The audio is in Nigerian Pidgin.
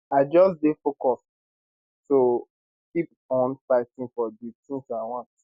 i just dey focused [to] keep on fighting for di tins i want